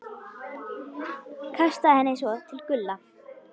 Kastaði henni svo til Gulla.